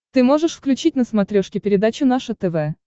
ты можешь включить на смотрешке передачу наше тв